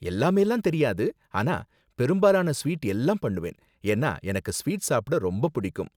எல்லாமேலாம் தெரியாது, ஆனா பெரும்பாலான ஸ்வீட் எல்லாம் பண்ணுவேன். ஏன்னா எனக்கு ஸ்வீட் சாப்பிட ரொம்ப பிடிக்கும்.